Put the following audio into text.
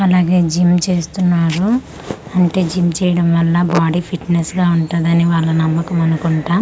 అలాగే జిమ్ చేస్తున్నారు అంటే జిమ్ చేయడం వల్ల బాడీ ఫిట్నెస్ గా ఉంటుందని వాళ్ళ నమ్మకం అనుకుంటా--